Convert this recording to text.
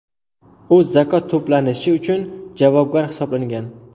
U zakot to‘planishi uchun javobgar hisoblangan.